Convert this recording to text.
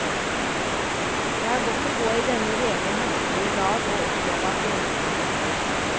Det er godt å gå i denne rene høstlige dag og oppleve at grensene brister.